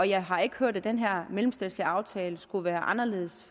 jeg har ikke hørt at den her mellemstatslige aftale skulle være anderledes